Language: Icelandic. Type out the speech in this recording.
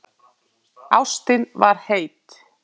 Ástin var heit.